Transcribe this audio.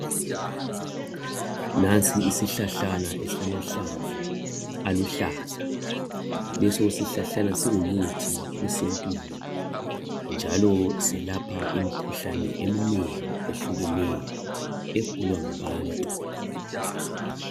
Nansi isihlahlana esilamahlamvu aluhlaza leso sisihlahlana singumuthi esintwini njalo selapha imikhuhlane eminengi ehlukeneyo egulwa ngabantu